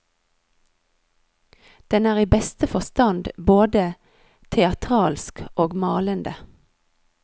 Den er i beste forstand både teatralsk og malende.